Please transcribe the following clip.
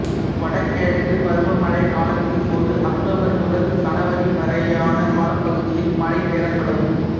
வடகிழக்கு பருவமழை காலத்தின் போது அக்டோபர் முதல் சனவரி வரையான காலப்பகுதியில் மழை பெறப்படும்